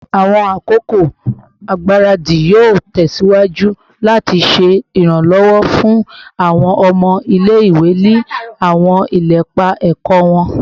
Awọn akoko igbaradi yoo tẹsiwaju lati ṣe iranlọwọ fun awọn ọmọ ile-iwe ni awọn ilepa ẹkọ wọn